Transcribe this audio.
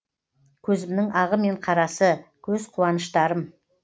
көзімнің ағы мен қарасы көз қуаныштарым